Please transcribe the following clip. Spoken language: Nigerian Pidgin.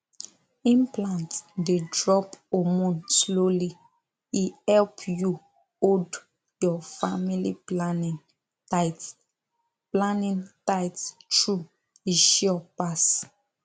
implant dey drop hormone slowly e help you hold your family planning tight planning tight true e sure pass